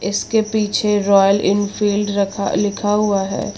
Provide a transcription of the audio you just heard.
इसके पीछे Royal Enfield रखा लिखा हुआ है।